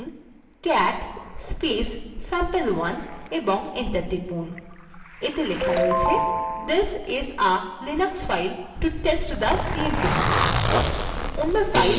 লিখুন cat sampe1 এবং enter টিপুন এতে লেখা রয়েছে this is a linux file to test the cmp command